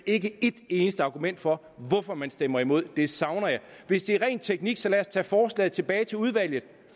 ikke et eneste argument for hvorfor man stemmer imod det savner jeg hvis det er ren teknik så lad os tage forslaget tilbage til udvalget